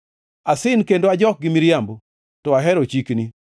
Asin kendo ajok gi miriambo, to ahero chikni.